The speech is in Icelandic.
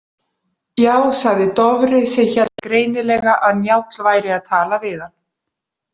Já, sagði Dofri sem hélt greinilega að Njáll væri að tala við hann.